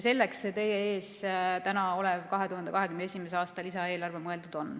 Selleks see täna teie ees olev 2021. aasta lisaeelarve ongi mõeldud.